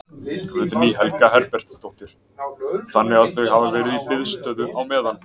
Guðný Helga Herbertsdóttir: Þannig að þau hafa verið í biðstöðu á meðan?